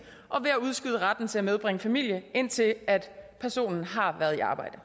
og ved at udskyde retten til at medbringe familie indtil personen har været i arbejde